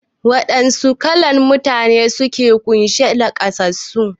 Wa ɗanna kalan Mutane ne suka kunshi naƙasassu?